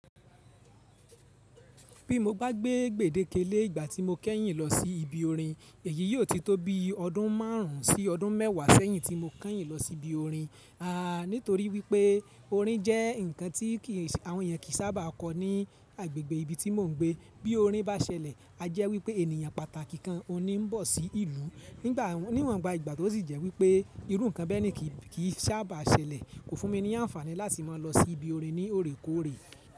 Bí mo bá gbé gbedeke lé ìgbà tí mo kẹ́yìn lọ sí ibi orin, èyí yóò ti tó bí ọdún márùn ún sí ọdún mẹ́wàá sẹ́yìn tí mo kẹ́yìn lọ sí ibi orin. Àá nítorí wípé orin jẹ́ ǹkan tí àwọn èèyàn kì í sábà kọ ní agbègbè ibi tí mò ń gbé. Bí orin bá ṣẹlẹ̀, a jẹ́ wípé ènìyàn pàtàkì kan oní ń bọ̀ sí ìlú níwọn ìgbà tó sì jẹ́ wípé irú ǹkan bẹ́ẹ̀ ni kì í sábà ṣẹlẹ̀. Kò fún mi ní àǹfààní láti máa lọ sí ibi orin ní òrékòórè.